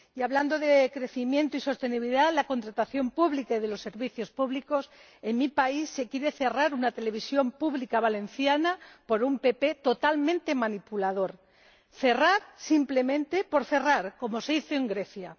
Y, hablando de crecimiento y sostenibilidad de la contratación pública y de los servicios públicos, en mi país se quiere cerrar una televisión pública valenciana por un PP totalmente manipulador. Cerrar simplemente por cerrar, como se hizo en Grecia.